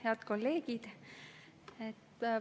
Head kolleegid!